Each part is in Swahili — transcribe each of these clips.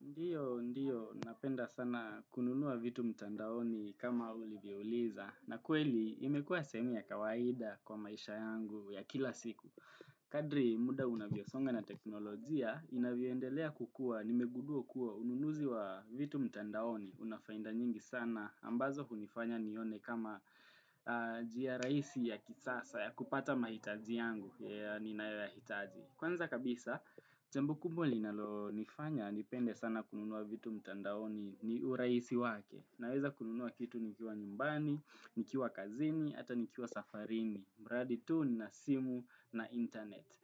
Ndiyo, ndiyo, napenda sana kununua vitu mtandaoni kama ulivyo uliza. Na kweli, imekuwa sehemu ya kawaida kwa maisha yangu ya kila siku. Kadri muda unavyosonga na teknolojia, inavyoendelea kukua, nimegudua kuwa ununuzi wa vitu mtandaoni. Unafainda nyingi sana, ambazo hunifanya nione kama jia raisi ya kisasa ya kupata mahitaji yangu ya ninayoya hitaji. Kwanza kabisa, jambo kubwa linalo nifanya, nipende sana kununua vitu mtandaoni ni uraisi wake. Naweza kununua kitu nikiwa nyumbani, nikiwa kazini, ata nikiwa safarini. Mradi tu nina simu na internet.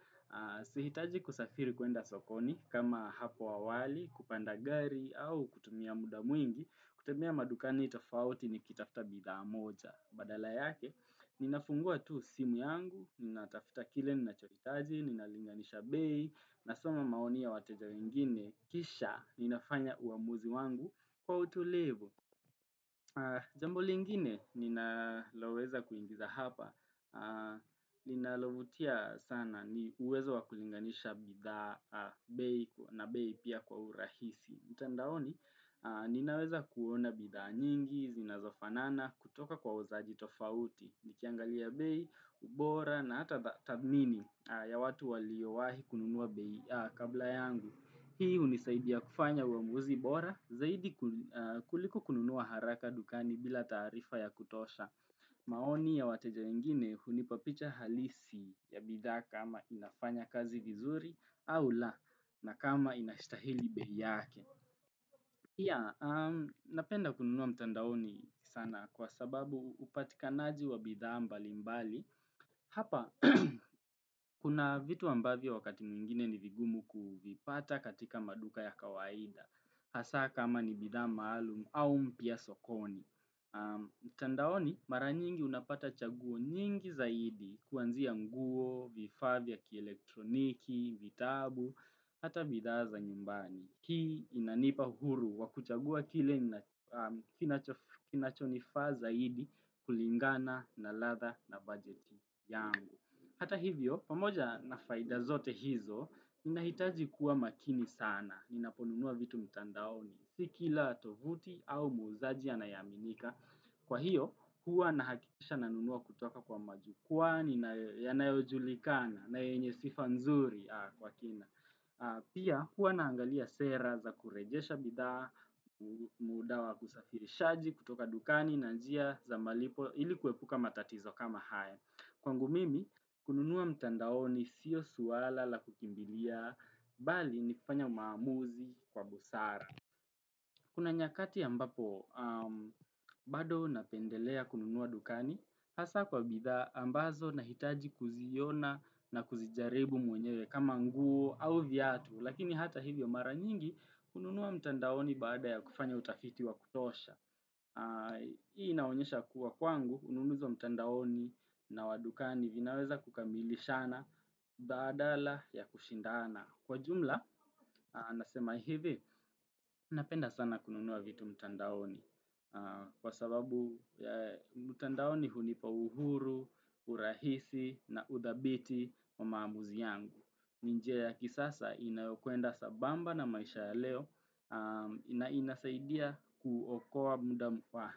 Sihitaji kusafiri kuenda sokoni, kama hapo awali, kupanda gari, au kutumia muda mwingi, kutembea madukani tofauti ni kitafta bidhaa moja. Badala yake, ninafungua tu simu yangu, nina tafuta kile nina chohitaji, ninalinganisha bei, nasoma maoni ya wateja wengine, kisha ninafanya uamuzi wangu kwa utulivu. Jambo lingine, ninaloweza kuingiza hapa, linalovutia sana ni uwezo wa kulinganisha bidhaa bei na bei pia kwa urahisi. Mtandaoni, ninaweza kuona bidhaa nyingi, zinazofanana, kutoka kwa wauzaji tofauti, nikiangalia bei, ubora, na hata tabmini ya watu waliowahi kununua bei a kabla yangu. Hii hunisaidia kufanya uamuzi bora, zaidi kuliko kununua haraka dukani bila tarifa ya kutosha. Maoni ya wateja wengine hunipapicha halisi ya bidhaa kama inafanya kazi vizuri au la na kama inashitahili bei yake. Ya, napenda kununua mtandaoni sana kwa sababu upatika naji wa bidhaa mbali mbali. Hapa, kuna vitu ambavyo wakati mwingine ni vigumu kuvipata katika maduka ya kawaida. Hasa kama ni bidhaa maalumu au mpya sokoni. Mtandaoni, mara nyingi unapata chaguo nyingi zaidi kuanzia nguo, vifaa vya kielektroniki, vitabu, hata bidhaa za nyumbani. Hii inanipa huru, wa kuchagua kile kinachonifaa zaidi kulingana na ladha na budget yangu. Hata hivyo, pamoja na faida zote hizo, ninahitaji kuwa makini sana, ninaponunua vitu mitandaoni. Si kila tovuti au muuzaji aneaminika. Kwa hiyo, huwa nahakikisha nanunua kutoka kwa majukwa yanayojulikana, na yenye sifa nzuri kwa kina. Pia kuwa naangalia sera za kurejesha bidhaa, muda wa kusafirishaji kutoka dukani na njia za malipo ilikuepuka matatizo kama haya Kwangu mimi, kununuwa mtandaoni sio suwala la kukimbilia, bali ni kupanya maamuzi kwa busara Kuna nyakati ambapo bado napendelea kununua dukani, hasa kwa bidhaa ambazo nahitaji kuziona na kuzijaribu mwenyewe kama nguo au viatu, lakini hata hivyo mara nyingi kununua mtandaoni baada ya kufanya utafiti wa kutosha. Hii inaonyesha kuwa kwangu ununuzi wa mtandaoni na wa dukani vinaweza kukamilishana badala ya kushindana Kwa jumla, nasema hivi, napenda sana kununua vitu mtandaoni Kwa sababu mtandaoni hunipa uhuru, urahisi na udhabiti wa maamuzi yangu ni njia ya kisasa inayokwenda sa bamba na maisha ya leo na inasaidia kuokoa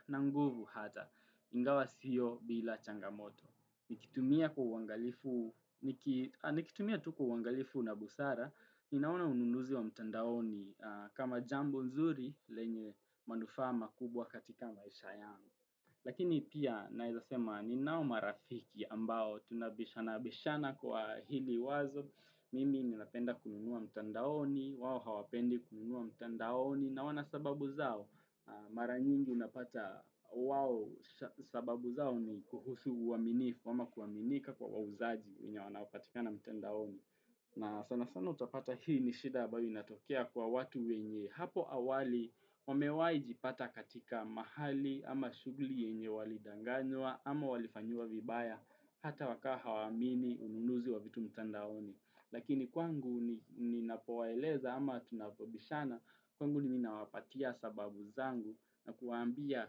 na nguvu hata ingawa sio bila changamoto. Nikitumia tu kwa uangalifu na busara, inaona ununuzi wa mtandaoni kama jambo nzuri lenye manufaa ma kubwa katika maisha yangu. Lakini pia naeza sema ni nao marafiki ambao tunabishana bishana kwa hili wazo, mimi napenda kununua mtandaoni, wao hawapendi kununua mtandaoni, na wana sababu zao mara nyingi unapata wao sababu zao ni kuhusu uaminifu ama kuaminika kwa wauzaji wenye wanaopatikana mtandaoni. Na sana sana utapata hii ni shida ambayo inatokea kwa watu wenye hapo awali wamewaijipata katika mahali ama shuguli yenye walidanganywa ama walifanyiwa vibaya hata wakawa hawaamini ununuzi wa vitu mtandaoni. Lakini kwangu ninapowaeleza ama tunapobishana kwangu mi ninawapatia sababu zangu na kuwaambia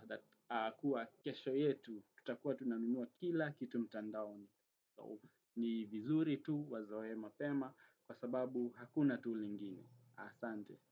kuwa kesho yetu tutakuwa tunanunua kila kitu mtandaoni. So ni vizuri tu wazoe mapema kwa sababu hakuna tu lingine. Asante.